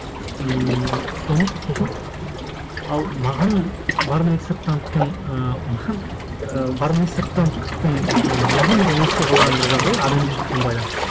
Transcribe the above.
ммм соның сосын ал маған барлыбек сырттановтың і маған і барлыбек сырттановтың і маған олар есте қалған бір жағдай адамгершілікпен байланысты